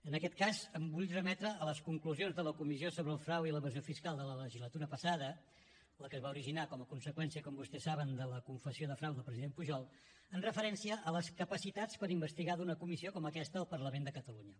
en aquest cas em vull remetre a les conclusions de la comissió sobre el frau i l’evasió fiscal de la legislatura passada la que es va originar com a conseqüència com vostès saben de la confessió de frau del president pujol en referència a les capacitats per investigar d’una comissió com aquesta al parlament de catalunya